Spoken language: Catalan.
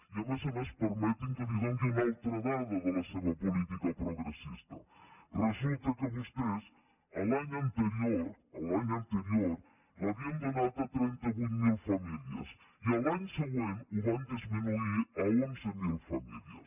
i a més a més per·meti’m que li doni una altra dada de la seva política progressista resulta que vostès l’any anterior l’havien donat a trenta vuit mil famílies i l’any següent ho van dismi·nuir a onze mil famílies